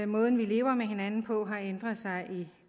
måden vi lever med hinanden på har ændret sig i